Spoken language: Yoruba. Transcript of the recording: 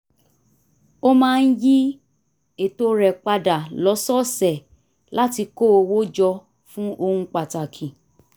ó máa ń yí eto rẹ̀ padà lọ́sọ̀ọ̀sẹ̀ láti kó owó jọ fún ohun pàtàkì